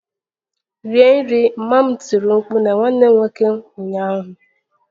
Rie nri! Mama m tiri mkpu na nwanne m nwoke ụnyaahụ